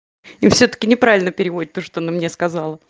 и всё-таки неправильно переводит то что она мне сказал